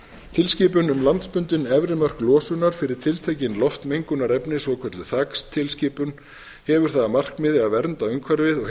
tilskipun um landsbundin efri mörk losunar fyrir tiltekin loftmengunarefni svokölluð þaktilskipun hefur það að markmiði að vernda umhverfið og